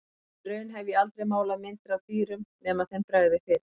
Og í raun hef ég aldrei málað myndir af dýrum nema þeim bregði fyrir.